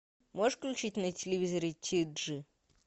можешь включить на телевизоре тиджи